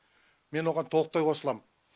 мен оған толықтай қосылам